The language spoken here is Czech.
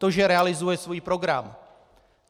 To, že realizuje svůj program.